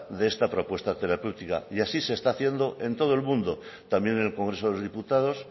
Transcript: de esta propuesta terapéutica y así se está haciendo en todo el mundo también en el congreso de los diputados